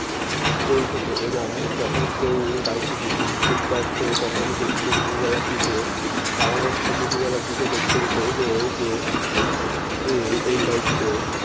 দোল খেত এবং যখন কেউ এই বাড়িটির visit করতে আসত তখনই দেখতো দুপুরবেলার দিকে অমাবস্যার দুপুরবেলার দিকে দেখতে পেত যে যে এই বাড়িটিতে